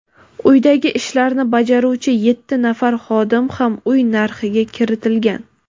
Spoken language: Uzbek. uydagi ishlarni bajaruvchi yetti nafar xodim ham uy narxiga kiritilgan.